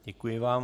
Děkuji vám.